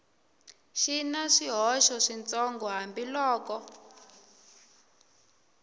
ri na swihoxo switsongo hambiloko